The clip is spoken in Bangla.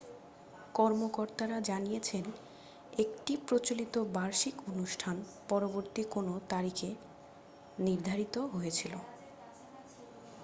কর্মকর্তারা জানিয়েছেন একটি প্রচলিত বার্ষিক অনুষ্ঠান পরবর্তী কোনও তারিখে নির্ধারিত হয়েছিল